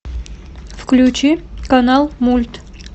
включи канал мульт